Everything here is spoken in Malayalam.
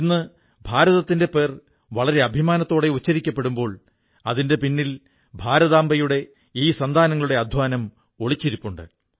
ഇന്ന് ഭാരതത്തിന്റെ പേര് വളരെ അഭിമാനത്തോടെ ഉച്ചരിക്കപ്പെടുമ്പോൾ അതിന്റെ പിന്നിൽ ഭാരതാംബയുടെ ഈ സന്താനങ്ങളുടെ അധ്വാനം ഒളിച്ചിരിപ്പുണ്ട്